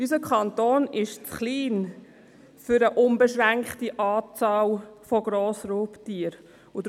Unser Kanton ist für eine unbeschränkte Anzahl von Grossraubtieren zu klein.